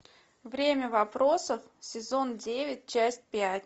время вопросов сезон девять часть пять